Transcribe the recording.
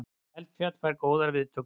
Eldfjall fær góðar viðtökur